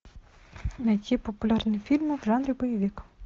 найти популярные фильмы в жанре боевик